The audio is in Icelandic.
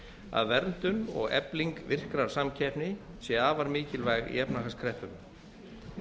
að verndun og efling virkrar samkeppni sé afar mikilvæg í efnahagskreppum